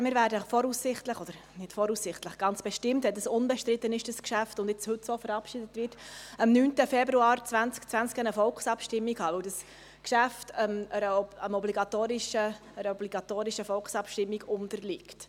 Denn wir werden voraussichtlich, oder nicht voraussichtlich, sondern ganz bestimmt, wenn das Geschäft unbestritten ist und heute so verabschiedet wird, am 9. Februar 2020 eine Volksabstimmung haben, weil das Geschäft einer obligatorischen Volksabstimmung unterliegt.